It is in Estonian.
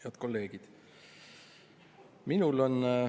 Head kolleegid!